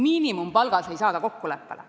Miinimumpalgas ei saada kokkuleppele.